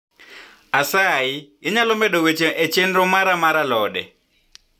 asayi inyalo medo weche e chenro mara mar alode